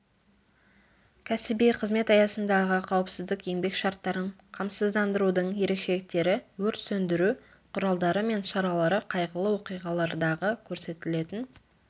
кәсіби қызмет аясындағы қауіпсіз еңбек шарттарын қамсыздандырудың ерекшеліктері өрт сөндіру құралдары мен шаралары қайғылы оқиғалардағы көрсетілетін